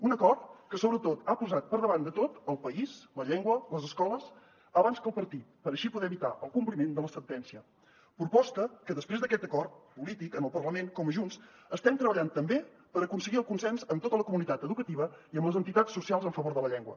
un acord que sobretot ha posat per davant de tot el país la llengua les escoles abans que el partit per així poder evitar el compliment de la sentència proposta que després d’aquest acord polític en el parlament com a junts estem treballant també per aconseguir el consens amb tota la comunitat educativa i amb les entitats socials en favor de la llengua